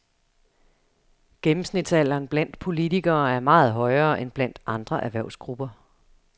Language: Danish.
Gennemsnitsalderen blandt politikere er meget højere end blandt andre erhvervsgrupper.